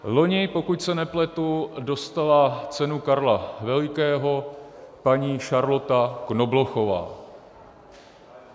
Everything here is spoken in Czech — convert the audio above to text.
Loni, pokud se nepletu, dostala cenu Karla Velikého paní Charlotte Knoblochová.